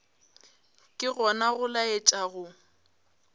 ke gona go laetša go